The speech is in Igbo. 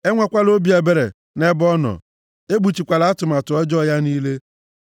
ekwenyekwala maọbụ ṅaa ntị nʼihe ọ na-ekwu. Enwekwala obi ebere nʼebe ọ nọ, ekpuchikwala atụmatụ ọjọọ ya niile.